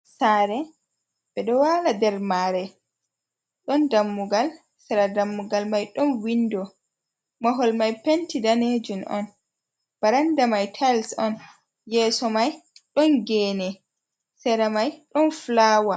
Saare ɓe ɗo walaa nder maare, ɗon dammugal sera dammugal mai ɗon windo, mahol mai penti daneejum on, baranda mai tais on, yeeso mai ɗon geene sera mai ɗon fulawa.